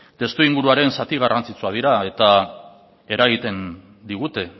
testuinguruaren zati garrantzitsuak dira eta eragiten digute